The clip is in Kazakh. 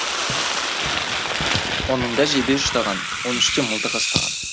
онында жебе ұштаған он үште мылтық ұстаған